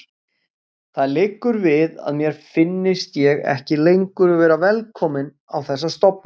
Það liggur við að mér finnist ég ekki lengur vera velkominn á þessa stofnun.